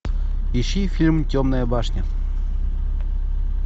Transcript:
ищи фильм темная башня